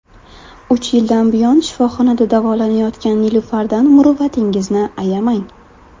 Uch yildan buyon shifoxonada davolanayotgan Nilufardan muruvvatingizni ayamang!.